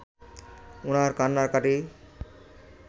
উনার কান্নাকাটি